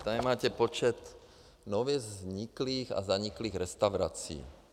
Tady máte počet nově vzniklých a zaniklých restaurací.